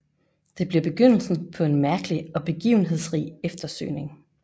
Det bliver begyndelsen på en mærkelig og begivenhedsrig eftersøgning